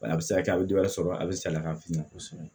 A bɛ se ka kɛ a bɛ dɔ wɛrɛ sɔrɔ a bɛ salaya fini na